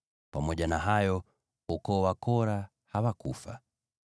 Pamoja na hayo, hao ukoo wa Kora hawakufa.